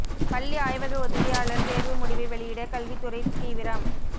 பள்ளி ஆய்வக உதவியாளர் தேர்வு முடிவை வெளியிட கல்வி துறை தீவிரம்